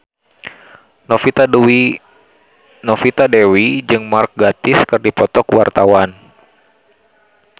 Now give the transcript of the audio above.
Novita Dewi jeung Mark Gatiss keur dipoto ku wartawan